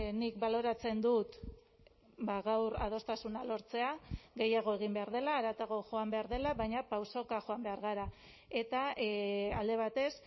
nik baloratzen dut gaur adostasuna lortzea gehiago egin behar dela haratago joan behar dela baina pausoka joan behar gara eta alde batez